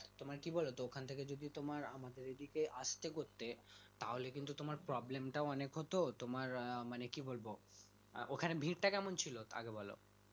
তোমার কি বোলো ওখান থেকে যদি তোমার আমাদের এই দিকে আস্তে হয় তাহলে কিন্তু তোমার problem টাও অনেক হতো মানে কি বলবো ওখানে ভিড়টা কেমন ছিল আগে বলো